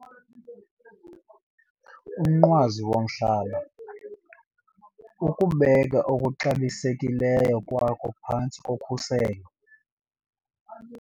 Umnqwazi womhlaba - ukubeka okuxabisekileyo kwakho phantsi kokhuselo